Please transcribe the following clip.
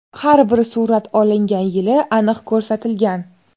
Har bir surat olingan yili aniq ko‘rsatilgan.